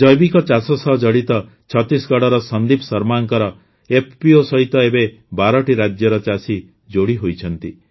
ଜୈବିକ ଚାଷ ସହ ଜଡ଼ିତ ଛତିଶଗଡ଼ର ସନ୍ଦିପ ଶର୍ମାଙ୍କ ଏଫ୍ପିଓ ସହିତ ଏବେ ୧୨ଟି ରାଜ୍ୟର ଚାଷୀ ଯୋଡ଼ିହୋଇଛନ୍ତି